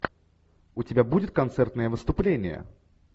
у тебя будет концертное выступление